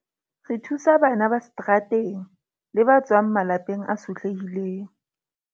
Re thusa bana ba seterateng le ba tswang malapeng a sotlehileng.